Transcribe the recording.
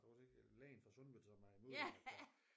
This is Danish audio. Var det ikke lægen fra Sundeved som er imod at der